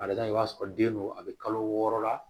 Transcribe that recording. A bɛ taa i b'a sɔrɔ den do a bɛ kalo wɔɔrɔ la